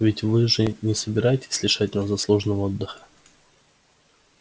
ведь вы же не собираетесь лишать нас заслуженного